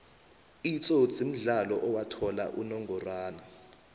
itsotsi mudlalo owathola inongoxwana